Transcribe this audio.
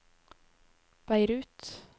Beirut